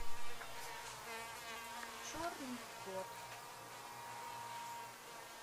черный кот